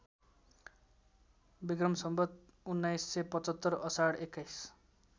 विस १९७५ आषाढ २१